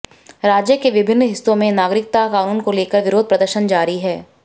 राज्य के विभिन्न हिस्सों में नागरिकता कानून को लेकर विरोध प्रदर्शन जारी है